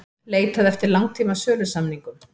Leitað eftir langtíma sölusamningum